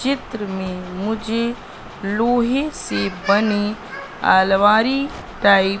चित्र में मुझे लोहे से बनी अलमारी टाइप --